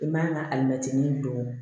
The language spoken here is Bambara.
I man ka alimɛtinin don